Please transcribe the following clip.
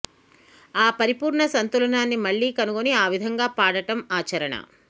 ఆ పరిపూర్ణ సంతులనాన్ని మళ్ళీ కనుగొని ఆ విధంగా పాడటం ఆచరణ